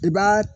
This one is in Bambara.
I b'a